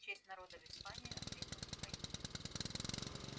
нет в честь народа в испании ответил михаил